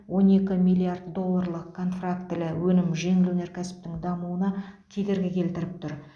он екі миллиард долларлық контрафактілі өнім жеңіл өнеркәсіптің дамуына кедергі келтіріп тұр